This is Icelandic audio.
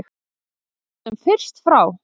Koma þessu sem fyrst frá.